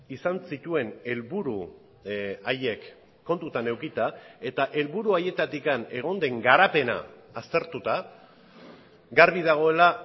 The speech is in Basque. izan zituen helburu haiek kontutan edukita eta helburu haietatik egon den garapena aztertuta garbi dagoela